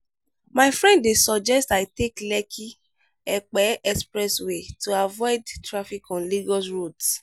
my friend dey suggest i take lekki-epe expressway to avoid traffic on lagos roads.